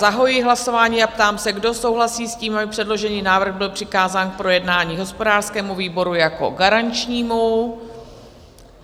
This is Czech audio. Zahajuji hlasování a ptám se, kdo souhlasí s tím, aby předložený návrh byl přikázán k projednání hospodářskému výboru jako garančnímu?